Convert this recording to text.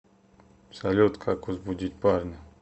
салют как возбудить парня